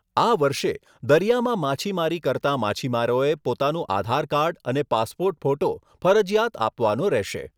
આ વર્ષે દરિયામાં માછીમારી કરતાં માછીમારોએ પોતાનું આધારકાર્ડ અને પાસપોર્ટ ફોટો ફરજીયાત આપવાનો રહેશે.